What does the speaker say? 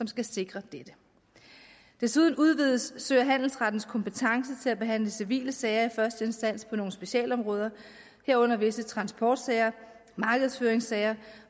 skal sikre dette desuden udvides sø og handelsrettens kompetence til at behandle civile sager i første instans på nogle specialområder herunder visse transportsager markedsføringssager